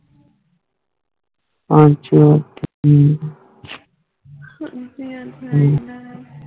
ਪਣਛੂਨ